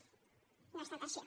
però no ha estat així